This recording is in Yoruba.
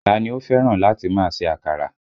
Ta ni ó fẹ́ràn láti máa ṣe àkàrà?